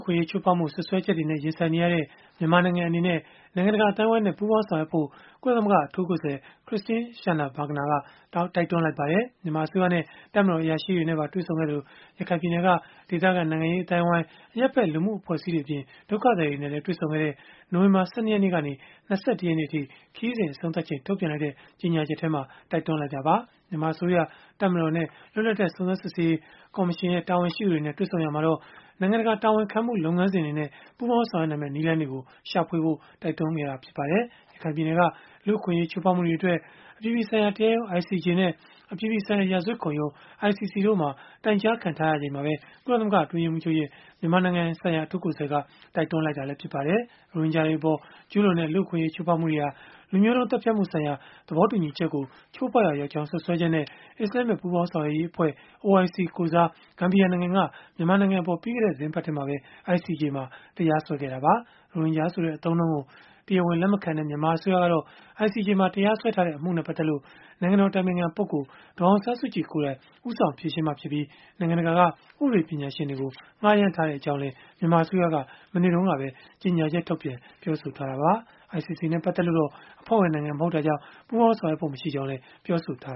ခွင့်အရေး ချိုးဖောက်မှု စွပ်စွဲချက်တွေနဲ့ ရင်ဆိုင်နေရတဲ့ မြန်မာနိုင်ငံအနေနဲ့ နိုင်ငံတကာ အသိုင်းအဝန်းနဲ့ ပူးပေါင်းဆောင်ရွက်ဖို့ ကုလသမဂ္ဂ အထူးကိုယ်စားလှယ် Christine Schraner Burgener က တိုက်တွန်းလိုက်ပါတယ်။ မြန်မာအစိုးရနဲ့ တပ်မတော် အရာရှိတွေနဲ့ တွေ့ဆုံခဲ့သလို၊ ရခိုင်ပြည်နယ်က ဒေသခံနိုင်ငံရေး အသိုင်းအဝန်း၊ အရပ်ဘက် လူမှုအဖွဲ့အစည်းတွေအပြင် ဒုက္ခသည်တွေနဲ့ပါ တွေ့ဆုံခဲ့တဲ့ နိုဝင်ဘာ ၁၂ ရက်နေ့ကနေ ၂၁ ရက်နေ့အထိ ခရီးစဉ် အဆုံးသတ်ချိန်မှာ ထုတ်ပြန်လိုက်တဲ့ ကြေညာချက်မှာ တိုက်တွန်းလိုက်တာပါ။ မြန်မာအစိုးရ၊ တပ်မတော်၊ လွတ်လပ်တဲ့ စုံစမ်းစစ်ဆေးရေး ကော်မရှင် တာဝန်ရှိသူတွေနဲ့ တွေ့ဆုံရာမှာတော့ နိုင်ငံတကာ တာဝန်ခံမှုလုပ်ငန်းစဉ်တွေနဲ့ ပူးပေါင်းဆောင်ရွက်နိုင်မယ့် နည်းလမ်းတွေ ရှာဖွေဖို့ တိုက်တွန်းခဲ့ပါတယ်။ ရခိုင်ပြည်နယ်က လူ့အခွင့်အရေး ချိုးဖောက်မှုတွေအတွက် အပြည်ပြည်ဆိုင်ရာ တရားရုံး (ICJ) နဲ့ အပြည်ပြည်ဆိုင်ရာ ရာဇဝတ်ခုံရုံး (ICC) တို့မှာ တိုင်ကြားခံထားရချိန်မှာပဲ ကုလသမဂ္ဂ အတွင်းရေးမှူးချုပ်ရဲ့ မြန်မာနိုင်ငံဆိုင်ရာ အထူးကိုယ်စားလှယ်က တိုက်တွန်းလိုက်တာလည်း ဖြစ်ပါတယ်။ ရိုဟင်ဂျာတွေအပေါ် ကျုးလွန်တဲ့ လူ့အခွင့်အရေး ချိုးဖောက်မှုတွေဟာ လူမျိုးတုန်းသတ်ဖြတ်မှုဆိုင်ရာ သဘောတူညီချက်ကို ချိုးဖောက်ရာရောက်ကြောင်း စွပ်စွဲချက်နဲ့ အစ္စလာမ္မစ်ပူးပေါင်းဆောင်ရွက်ရေးအဖွဲ့ (OIC) ကိုယ်စား ဂမ်ဘီယာနိုင်ငံက မြန်မာနိုင်ငံအပေါ် ပြီးခဲ့တဲ့ သီတင်းပတ်ထဲမှာပဲ ICJ မှာ တရားစွဲဆိုခဲ့တာပါ။ ရိုဟင်ဂျာဆိုတဲ့ အသုံးအနှုန်းကို တရားဝင် လက်မခံတဲ့ မြန်မာအစိုးရကတော့ ICJ မှာ တရားစွဲထားတဲ့ အမှုနဲ့ ပတ်သက်လို့ နိုင်ငံတော် အတိုင်ပင်ခံပုဂ္ဂိုလ် ဒေါ်အောင်ဆန်းစုကြည် ကိုယ်တိုင် ဦးဆောင်ဖြေရှင်းမှာဖြစ်ပြီး၊ နိုင်ငံတကာက ဥပဒေပညာရှင်တွေကို ငှားရမ်းထားကြောင်းလည်း မြန်မာအစိုးရက မနေ့တုန်းကပဲ ကြေညာချက်ထုတ်ပြန် ပြောဆိုခဲ့တာပါ။ ICC နဲ့ ပတ်သက်လို့တော့ အဖွဲ့ဝင်နိုင်ငံမဟုတ်တာကြောင့် ပူးပေါင်းဆောင်ရွက်ဖို့ မရှိကြောင်းလည်း ပြောဆိုထား